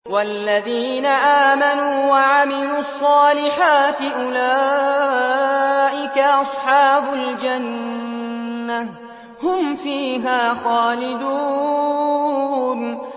وَالَّذِينَ آمَنُوا وَعَمِلُوا الصَّالِحَاتِ أُولَٰئِكَ أَصْحَابُ الْجَنَّةِ ۖ هُمْ فِيهَا خَالِدُونَ